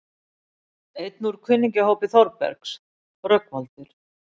Einn úr kunningjahópi Þórbergs, Rögnvaldur